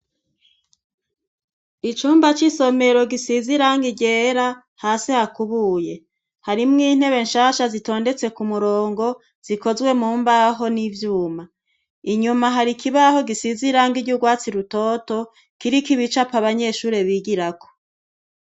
Icumba cy'isomero gisize irangi ryera, hasi hakubuye. Harimwo intebe nshasha zitondetse ku murongo, zikozwe mu mbaho n'ivyuma. Inyuma hari ikibaho gisize iranga ry'urwatsi rutoto kiriko ibicapo abanyeshuri bigirako.